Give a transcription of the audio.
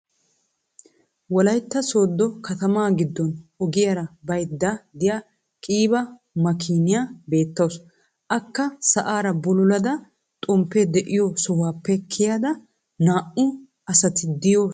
wolaytta soodo katamaa giddon ogiyara baydda diya qiiba makiiniya beetawusu. akka sa'aara bululada xomppee de'iyo sohuwappe kiyada naa'u asati de'iyo sohuwa baydda dawusu